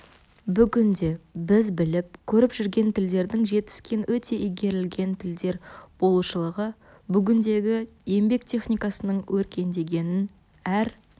бүгінде біз біліп көріп жүрген тілдердің жетіскен өте игерілген тілдер болушылығы бүгіндегі еңбек техникасының өркендегенін әр